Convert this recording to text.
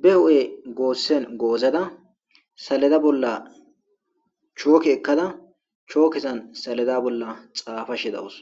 be huphe gosen gozada saleda bolla choke ekada chokezan saleda bolla xafashe deawus